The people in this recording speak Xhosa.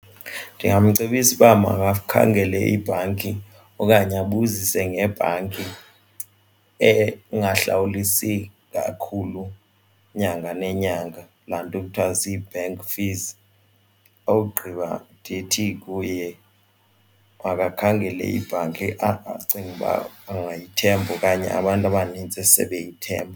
Ndingamcebisa uba makakhangele ibhanki okanye abuzise ngebhanki engahlawulelisi kakhulu inyanga nenyanga laa nto kuthwa kuthiwa zii-bank fees, ogqiba ndithi kuye makakhangele ibhanki acinga uba angayithembi okanye abantu abanintsi sebeyithemba.